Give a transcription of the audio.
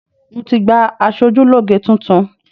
Mo ti gba aṣojúlógé tuntun